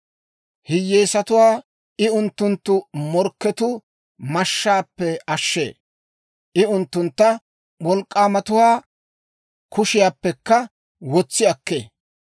Hiyyeesatuwaa I unttunttu morkketuu mashshaappe ashshee; I unttuntta wolk'k'aamatuwaa kushiyaappekka wotsi akkee.